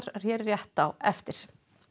hér rétt á eftir